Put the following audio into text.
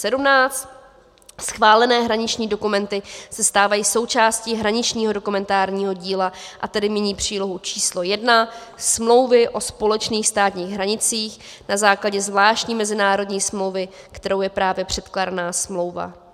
Schválené hraniční dokumenty se stávají součástí hraničního dokumentárního díla, a tedy mění přílohu číslo 1 smlouvy o společných státních hranicích na základě zvláštní mezinárodní smlouvy, kterou je právě předkládaná smlouva.